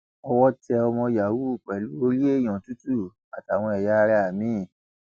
owó tẹ ọmọ yahoo pẹlú orí èèyàn tútù àtàwọn ẹyà ara mi